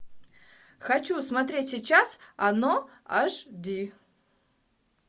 хочу смотреть сейчас оно аш ди